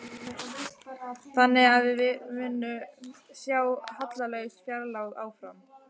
Þannig að við munum sjá hallalaus fjárlög áfram?